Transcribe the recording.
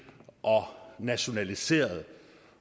og nationaliserede